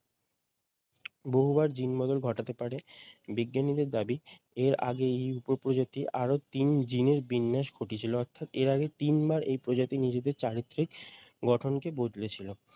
বহুবার জীন বদল ঘটাতে পারে বিজ্ঞানীদের দাবি এর আগে এই উপপ্রজাতি আরো তিন জিনে বিন্যাস ঘটিয়েছিল অর্থাৎ এর আগে তিনবার এই প্রজাতির নিজেদের চারিত্রিক গঠনকে বদলেছিলো।